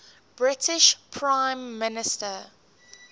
british prime minister